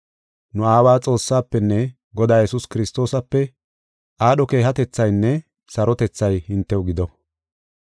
Nu Aawa Xoossaafenne Godaa Yesuus Kiristoosape aadho keehatethaynne sarotethay hintew gido.